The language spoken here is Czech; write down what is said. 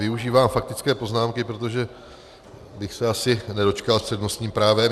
Využívám faktické poznámky, protože bych se asi nedočkal s přednostním právem.